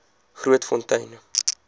grootfontein